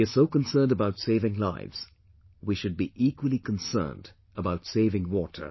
We are so concerned about saving lives; we should be equally concerned about saving water